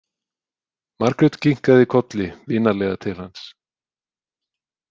Margrét kinkaði kolli vinalega til hans.